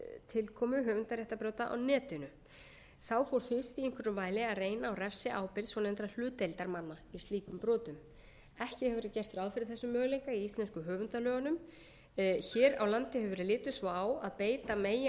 tilkomu höfundaréttarbrota á netinu þá fór fyrst í einhverjum mæli að reyna á refsiábyrgð svonefndra hlutdeildarmanna í slíkum brotum ekki hefur verið gert ráð fyrir þessum möguleika í íslensku höfundalögunum hér á landi hefur verið litið svo á að beita megi